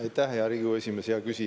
Aitäh, hea Riigikogu esimees!